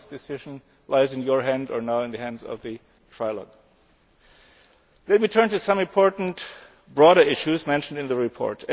This decision lies in your hands, or now in the hands of the trilogue. Let me turn to some important broader issues mentioned in the report.